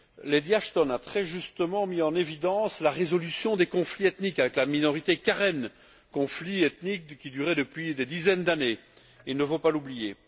Lady Asthon a, très justement, mis en évidence la résolution des conflits ethniques avec la minorité Karen, conflits ethniques qui duraient depuis des dizaines d'années, il ne faut pas l'oublier.